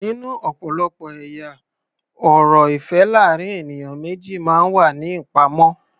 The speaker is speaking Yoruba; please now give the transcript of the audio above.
Nínú ọ̀pọ̀lọpọ̀ ẹ̀yà ọ̀rọ̀ ìfẹ́ láàrín ènìyàn méjì máa ń wà ní ìpamọ́.